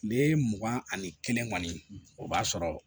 Kile mugan ani kelen kɔni o b'a sɔrɔ